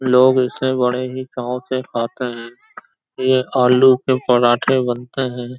लोग ऐसे बड़े ही चाव से खाते हैंये आलू के पराठे बनते हैं।